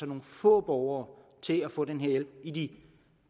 nogle få borgere til at få den her hjælp i de